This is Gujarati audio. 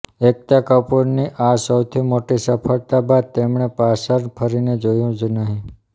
એકતા કપૂર ની આ સૌથી મોટી સફળતા બાદ તેમણે પાછર ફરીને જોયું જ નહીં